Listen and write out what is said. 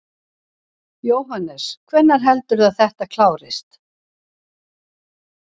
Jóhannes: Hvenær heldurðu að þetta klárist?